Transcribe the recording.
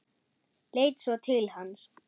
Leit svo til hans.